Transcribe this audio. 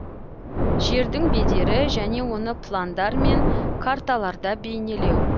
жердің бедері және оны пландар мен карталарда бейнелеу